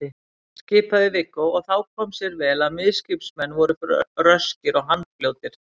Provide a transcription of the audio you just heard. skipaði Viggó, og þá kom sér vel að miðskipsmenn voru röskir og handfljótir.